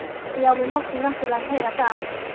Já, við máttum náttúrlega heyra það.